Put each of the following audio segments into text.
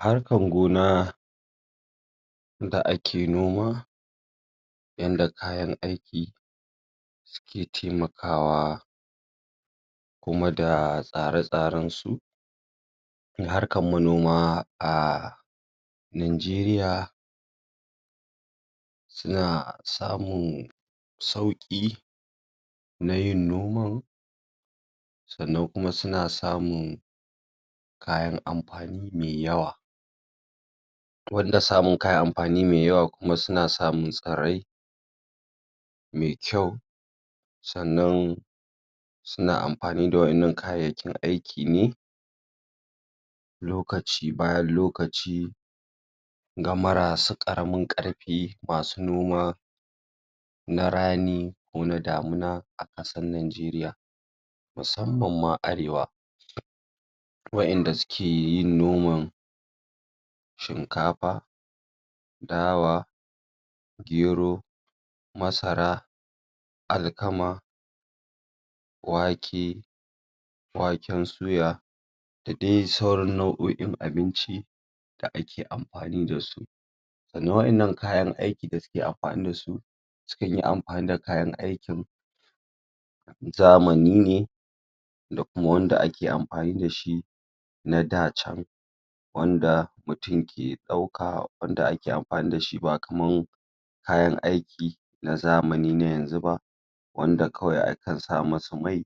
harkan gona da ake noma yanda kayan aiki suke taimakawa kuma da tsare tsaransu najeriya suna samun sauƙi nayin noman sannan kuma suna samun kayan amfani mai yawa banda samun kayan abinci mai yawa suna samun tsirrai me kyau sannan suna amfani da wa innan kayayyakin aiki ne lokaci bayan lokaci ga mara su ƙaramin ƙarfi masu noma na rani kona damuna a ƙasar najeriya musamman ma arewa wa inda sukeyin noman shinkafa dawa gero masara alkama wake waken suya da dai sauran nau'oin abinci da ake amfani dasu sannan wa innan kayan aikin da suke amfani dasu sukanyi amfani da kayan aikin zamani ne da kuma wanda ake amfani dashi na dacan wanda mutun ke ɗauka wanda kae amfani dashi ba kaman kayan aiki na zamani na yanzu ba wanda kawai akan sa musu mai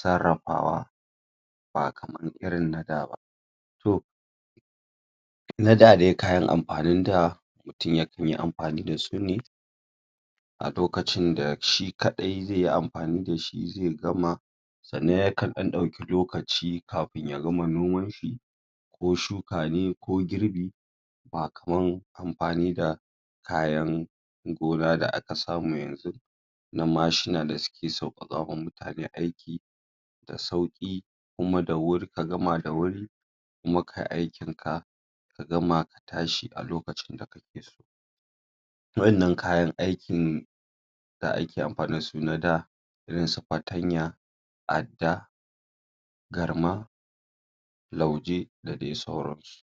sarrafawa ba kaman irin na daba to na da dai kayan amfanin da mutun ya kanyi amfani dasu ne a lokacin da shi kaɗai zaiyi amfani dashi zai gama sannan yakan ɗan ɗauke lokaci kafin ya gama nomanshi ko shukane ko girbi ba kaman amfani da kayan gona da aka samu yanzu na mashina da suke sauƙa ƙawa mutane aiki da sauƙi kuma ka gama da wuri kuma kayi aikinka ka gama ka tashi a lokacin da kake so wa innan kayan aikin da ake amfani dasu na da irin na da irinsu fatanya adda garma lauje da dai sauransu